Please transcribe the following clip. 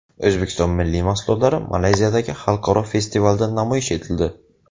O‘zbekiston milliy mahsulotlari Malayziyadagi xalqaro festivalda namoyish etildi.